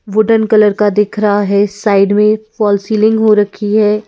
Wooden colour का दिख रहा है साइड में फॉल सीलिंग हो रखी है।